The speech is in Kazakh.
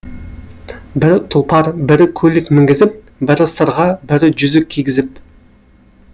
бірі тұлпар бірі көлік мінгізіп бірі сырға бірі жүзік кигізіп